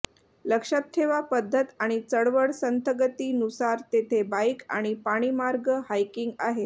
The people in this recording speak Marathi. लक्षात ठेवा पद्धत आणि चळवळ संथगती नुसार तेथे बाइक आणि पाणी मार्ग हायकिंग आहेत